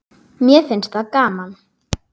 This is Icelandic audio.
Mér fannst það gaman.